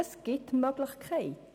Es gibt Möglichkeiten.